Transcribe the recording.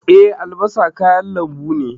Eh, albasa kayan lambu ne.